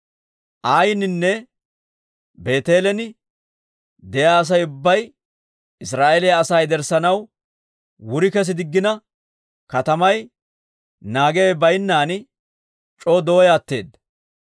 Ayininne Beeteelen de'iyaa Asay ubbay Israa'eeliyaa asaa yederssanaw wuri kes diggina, katamay naagiyaawe baynnan c'oo dooyaa atteedda.